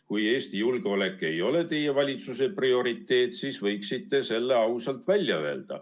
Kui Eesti julgeolek ei ole teie valitsuse prioriteet, siis võiksite selle ausalt välja öelda.